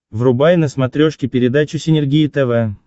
врубай на смотрешке передачу синергия тв